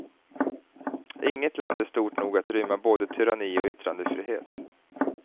Inget land är stort nog att rymma både tyranni och yttrandefrihet.